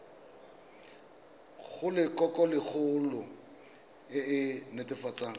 go lelokolegolo e e netefatsang